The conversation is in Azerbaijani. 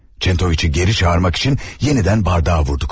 Çentoviçi geri çağırmaq üçün yenidən bardağa vurduq.